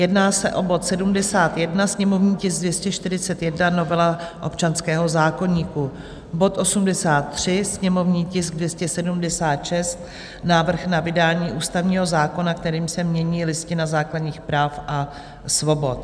Jedná se o bod 71, sněmovní tisk 241, novela občanského zákoníku; bod 83, sněmovní tisk 276, návrh na vydání ústavního zákona, kterým se mění Listina základních práv a svobod.